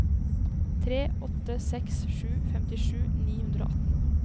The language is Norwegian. tre åtte seks sju femtisju ni hundre og atten